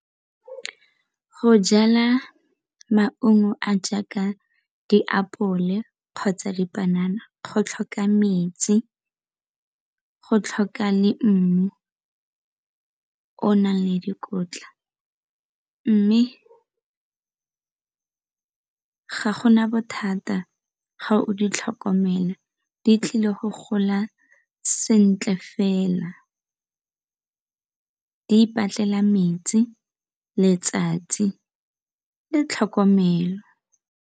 Go jala maungo a jaaka diapole kgotsa dipanana go tlhoka metsi, go tlhoka le mmu o nang le dikotla mme ga go na bothata ga o di tlhokomela di tlile go gola sentle fela ipatlela metsi, letsatsi le tlhokomelo.